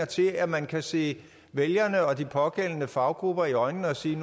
til at man kan se vælgerne og de pågældende faggrupper i øjnene og sige